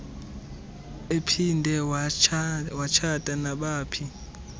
ephinde watshata nabaphi